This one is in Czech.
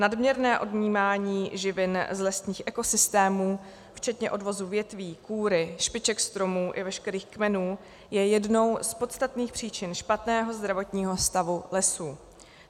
Nadměrné odnímání živin z lesních ekosystémů, včetně odvozu větví, kůry, špiček stromů i veškerých kmenů, je jednou z podstatných příčin špatného zdravotního stavu lesů.